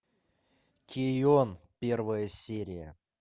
кэйон первая серия